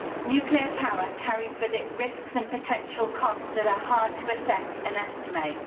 Nuclear power carries with it risks and potential costs that are hard to assess and estimate.